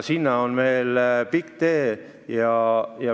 Sinna on veel pikk tee.